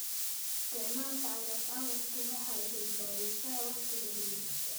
Isticmaalka cagaf-cagaftu waxa ay badbaadisaa wakhtiga beerista.